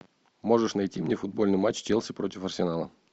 можешь найти мне футбольный матч челси против арсенала